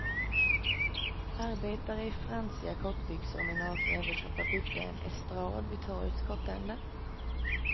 Arbetare i fransiga kortbyxor och med nakna överkroppar byggde en estrad vid torgets kortända.